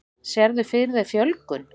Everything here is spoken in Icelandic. Sérðu fyrir þér fjölgun?